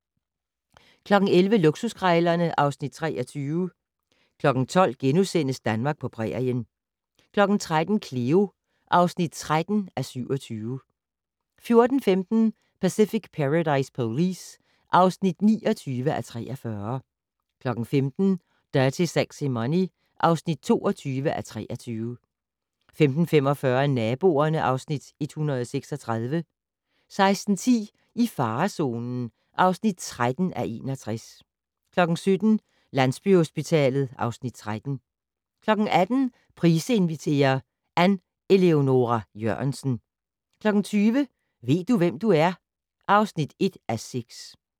11:00: Luksuskrejlerne (Afs. 23) 12:00: Danmark på prærien * 13:00: Cleo (13:27) 14:15: Pacific Paradise Police (29:43) 15:00: Dirty Sexy Money (22:23) 15:45: Naboerne (Afs. 136) 16:10: I farezonen (13:61) 17:00: Landsbyhospitalet (Afs. 13) 18:00: Price inviterer - Ann Eleonora Jørgensen 20:00: Ved du, hvem du er? (1:6)